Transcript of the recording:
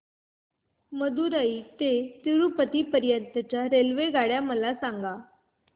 मदुरई ते तिरूपती पर्यंत च्या रेल्वेगाड्या मला सांगा